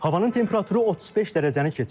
Havanın temperaturu 35 dərəcəni keçir.